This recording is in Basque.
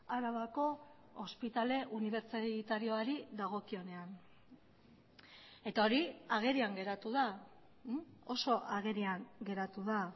arabako ospitale unibertsitarioari dagokionean eta hori agerian geratu da oso agerian geratu da